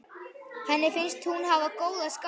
Henni finnst hún hafa góða sál.